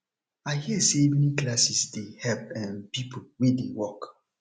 i hear say evening classes dey help um people wey dey work